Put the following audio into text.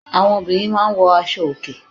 Àwọn obìnrin máa ń wọ aṣo òkè.